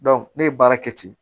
ne ye baara kɛ ten